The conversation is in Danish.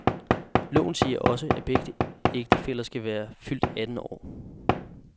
Loven siger også, at begge ægtefæller skal være fyldt atten år.